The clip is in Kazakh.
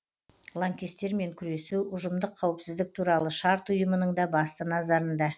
лаңкестермен күресу ұжымдық қауіпсіздік туралы шарт ұйымының да басты назарында